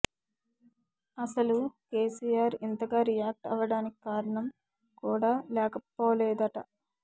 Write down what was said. అసలు కేసీఆర్ ఇంతగా రియాక్ట్ అవ్వడానికి కారణం కూడా లేకపోలేదట